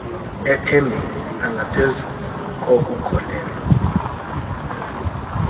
ethembeni nangaphezu kokukholelwa